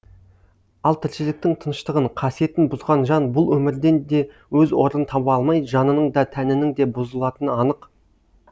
ал тіршіліктің тыныштығын қасиетін бұзған жан бұл өмірден де өз орнын таба алмай жанының да тәнінің де бұзылатыны анық